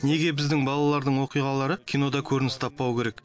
неге біздің балалардың оқиғалары кинода көрініс таппауы керек